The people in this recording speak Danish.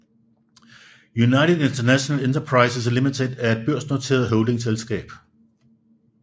United International Enterprises Limited er et børsnoteret holdingselskab